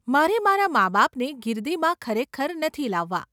મારે મારા માબાપને ગિરદીમાં ખરેખર નથી લાવવા.